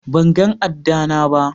ban gan ada na ba.